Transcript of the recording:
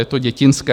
Je to dětinské.